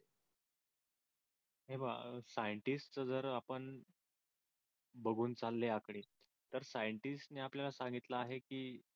हे बघा सायंटिस्टच जर आपण बघून चालले आकडे तर सायंटिस्ट ने आपल्याला सांगितले आहे की